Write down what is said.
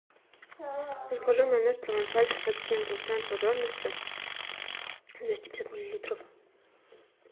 закажи майонез провансаль шестьдесят семь процентов жирности двести пятьдесят миллилитров